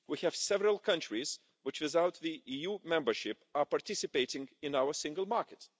We have several countries which, without EU membership, are participating in our single market.